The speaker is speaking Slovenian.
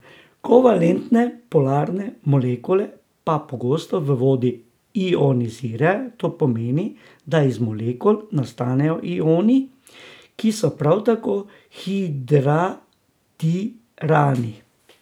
Kovalentne polarne molekule pa pogosto v vodi ionizirajo, to pomeni, da iz molekul nastanejo ioni, ki so prav tako hidratirani.